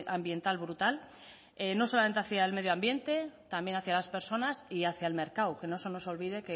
ambiental brutal no solamente hacia al medioambiente también hacia las personas y hacia el mercado que no se nos olvide